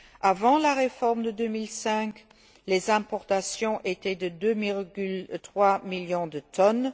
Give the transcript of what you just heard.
Avant la réforme de 2005, les importations étaient de 2,3 millions de tonnes.